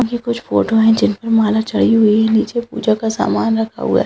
ये कुछ फोटो हैं जिन पर माला चढ़ी हुई है नीचे पूजा का सामान रखा हुआ है।